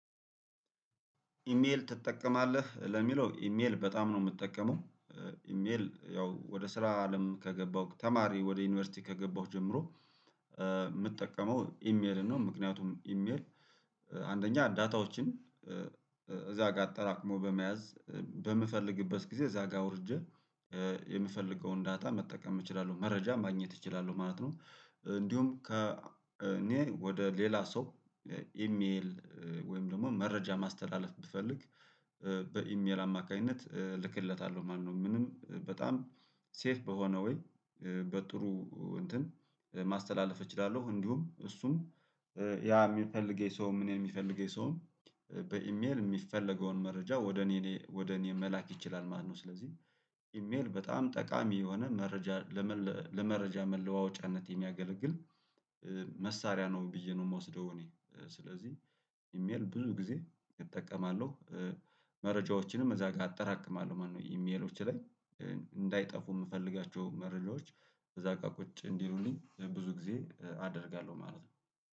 ኢሜል ትጠቀማለህ ለሚለው ኢሜል በጣም ነው የምጠቀመው። ኢሜል ያው ወደ ስራ አለም ከገባሁ ተማሪ ወደ ዩኒቨርሲቲ ከገባሁ ጀምሮ የምጠቀመው ኢሜል ነው። ምክንያቱም ኢሜል አንደኛ ዳታዎችን እዛ ጋር አጠራቅሞ በመያዝ በም በምፈልግበት ጊዜ እዛ ጋር አውርቼ የምፈልገውን ዳታ መጠቀም እችላለሁ መረጃም ማግኘት እችላለሁ ማለት ነው። እንዲሁም ከ እኔ ወደ ሌላ ሰው ኢሜል ወይም ደግሞ መረጃ ማስተላለፍ ብፈልግ በኢሜል አማካይነት ልክለታለሁ ማለት ነው። ምንም በጣም ሴፍ በሆነ ወይ በጥሩ እንትን ማስተላለፍ እችላለሁ። እንዲሁም እሱም ያ የሚፈልገው የሰውም እኔን የሚፈልገው ሰውም በኢሜል የሚፈለገውን መረጃ ወደ እኔደ ወደ እኔ መላክ ይችላል ማለት ነው። ስለዚህ ኢሜል በጣም ጠቃሚ የሆነ መረጃ ለመ ለመረጃ መለዋወጫነት የሚያገለግል መሳሪያ ነው ብዬ ነው የምወስደው። እኔ ስለዚህ ኢሜል ብዙ ጊዜ እጠቀማለሁ። መረጃዎችንም እዛ ጋር አጠራቅማለሁ ማለት ነው። ኢሜሎች ላይ እንዳይጠፉ የምፈልጋቸው መረጃዎች እዛ ጋር ቁጭ እንዲሉልኝ ለብዙ ጊዜ አደርጋለሁ ማለት ነው